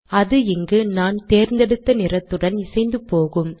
அது இங்கு நான் தேர்ந்தெடுத்த நிறத்துடன் இசைந்து போகும்